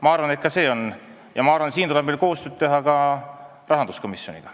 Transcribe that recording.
Ma arvan, et ka see on võimalik, ja ma arvan, et siin tuleb meil koostööd teha ka rahanduskomisjoniga.